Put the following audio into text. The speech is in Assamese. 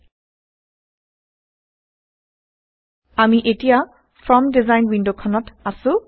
160আমি এতিয়া ফৰ্ম ডিজাইন ৱিণ্ডখনত আছো